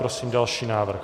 Prosím další návrh.